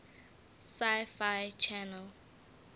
sci fi channel